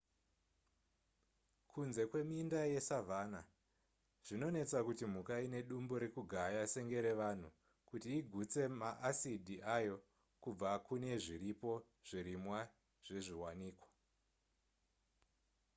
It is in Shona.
kunze kweminda yesavanna zvinonetsa kuti mhuka ine dumbu rekugaya senge revanhu kuti igutse ma asidi ayo kubva kune zviripo zvirimwa zvezviwanikwa